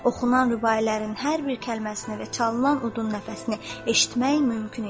Oxunan rübailərin hər bir kəlməsini və çalınan udun nəfəsini eşitmək mümkün idi.